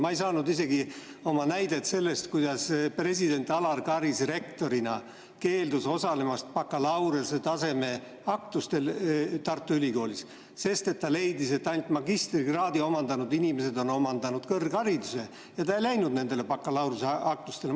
Ma ei saanud isegi tuua oma näidet sellest, kuidas president Alar Karis rektorina keeldus osalemast bakalaureusetaseme aktustel Tartu Ülikoolis, sest ta leidis, et ainult magistrikraadi omandanud inimesed on omandanud kõrghariduse, ja ta ei läinud bakalaureusetaseme aktustele.